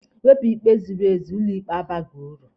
E wepụ ikpe ziri ezi, ụlọ ikpe abaghị uru.